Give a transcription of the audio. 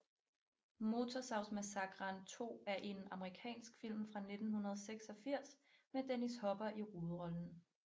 Motorsavsmassakren 2 er en amerikansk film fra 1986 med Dennis Hopper i hovedrollen